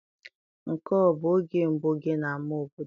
Nke a ọ bụ oge mbụ gị n'ama obodo?